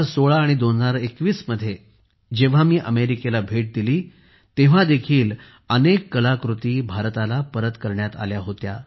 2016 आणि 2021 मध्ये जेव्हा मी अमेरिकेला भेट दिली तेव्हा देखील अनेक कलाकृती भारताला परत करण्यात आल्या होत्या